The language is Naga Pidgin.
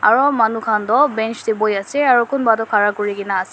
aru manu khan tu bench te bohe ase kunba tu khara kori kina ase.